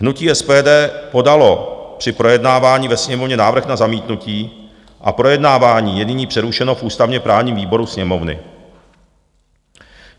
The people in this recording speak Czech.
Hnutí SPD podalo při projednávání ve Sněmovně návrh na zamítnutí a projednávání je nyní přerušeno v ústavně-právním výboru Sněmovny.